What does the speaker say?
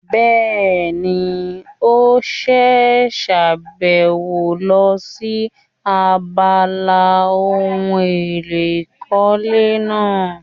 Bẹ́ẹ̀ni, ó ṣe sàbẹ̀wò lọ sí abala ohun èlò ìkọ́lé náà